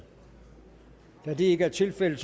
da det ikke er tilfældet